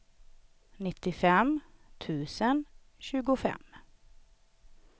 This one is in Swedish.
nittiofem tusen tjugofem